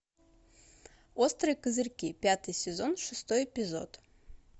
острые козырьки пятый сезон шестой эпизод